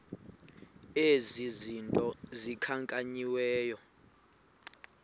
ezi zinto zikhankanyiweyo